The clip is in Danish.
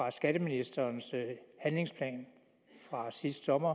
af skatteministerens handlingsplan fra sidste sommer